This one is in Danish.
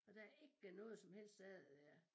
Og der er ikke noget som helst af det der er